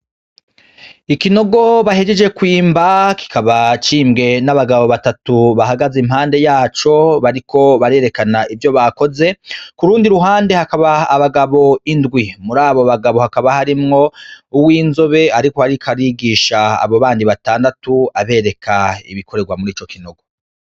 Ikinogo bahejeje kwimba, kikaba c'imbwe n'abagabo batatu bahagaze impande yaco, bariko barerekana ivyo bakoze, kurundi ruhande hakaba abagabo indwi, murabo bagabo hakaba harimwo uwinzobe ariko arigisha abo bandi batandatu abereka ibikorerwa murico kinogo.